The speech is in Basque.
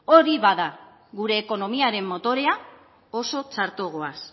hori bada gure ekonomiaren motorea oso txarto goaz